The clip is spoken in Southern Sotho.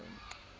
ba ke ke ba ho